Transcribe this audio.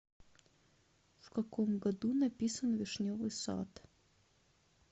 в каком году написан вишневый сад